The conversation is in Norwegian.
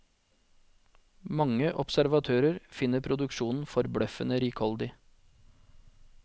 Mange observatører finner produksjonen forbløffende rikholdig.